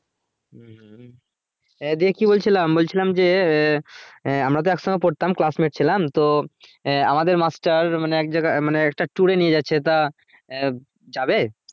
হম এ দিয়ে কি বলছিলাম বলছিলাম যে এ আমরা তো একসাথে পড়তাম classmate ছিলাম তো এ আমাদের মাস্টার মানে এক জায়গায় মানে একটা tour এ নিয়ে যাচ্ছে তা আহ যাবে?